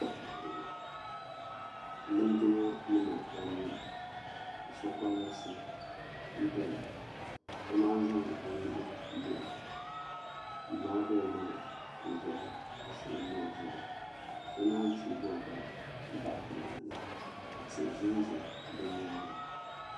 Lingima nima anu ka so kolabisi n doya ka naanyi zaŋ o nuhi m muɣi m maagi o ni n zaya ka silimi o zuɣu ka so naanyi teeigi o gbali m bahi na ka tihi ʒɛnʒɛ bɛ nyaanga